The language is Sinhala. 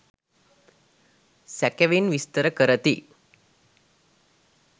සැකෙවින් විස්තර කරති